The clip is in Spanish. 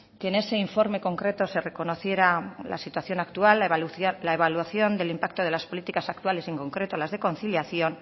que en ese informe concreto se reconociera la situación actual la evaluación del impacto de las políticas actuales en concreto las de conciliación